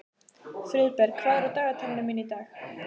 Friðberg, hvað er á dagatalinu mínu í dag?